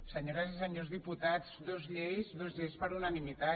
senyores i senyors diputats dues lleis dues lleis per unanimitat